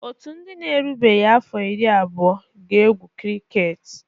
Otu ndị na-erubeghị afọ iri abụọ ga-egwu kriket.